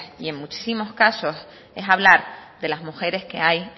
y en muchísimos casos es hablar de las mujeres que hay